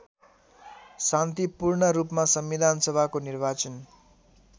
शान्तिपूर्णरूपमा संविधानसभाको निर्वाचन